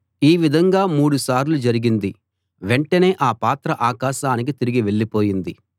ఈ విధంగా మూడుసార్లు జరిగింది వెంటనే ఆ పాత్ర ఆకాశానికి తిరిగి వెళ్ళిపోయింది